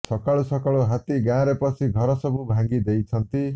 ସକାଳୁ ସକାଳୁ ହାତୀ ଗାଁରେ ପଶି ଘର ସବୁ ଭାଙ୍ଗି ଦେଇଛନ୍ତି